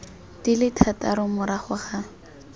di le thataro morago ga